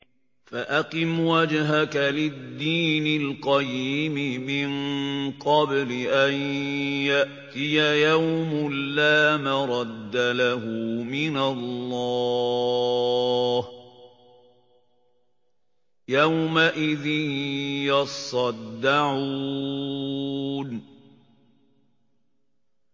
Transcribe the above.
فَأَقِمْ وَجْهَكَ لِلدِّينِ الْقَيِّمِ مِن قَبْلِ أَن يَأْتِيَ يَوْمٌ لَّا مَرَدَّ لَهُ مِنَ اللَّهِ ۖ يَوْمَئِذٍ يَصَّدَّعُونَ